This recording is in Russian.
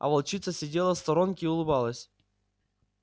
а волчица сидела в сторонке и улыбалась